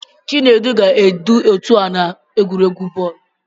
Chinedu ga-edu otu a n'egwuregwu bọọlụ.